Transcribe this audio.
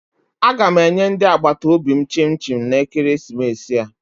Aga m enye ndị agbataobi m chim chim na ekeresimesi a